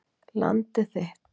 Landið þitt.